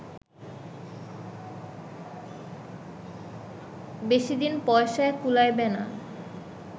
বেশিদিন পয়সায় কুলাইবে না